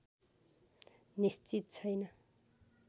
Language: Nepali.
निश्चित छैन